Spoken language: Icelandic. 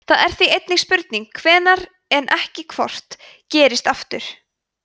það er því einungis spurning hvenær en ekki hvort gerist aftur